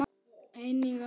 Einnig er notað